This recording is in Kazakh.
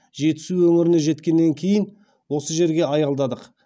жетісу өңіріне жеткеннен кейін осы жерге аялдадық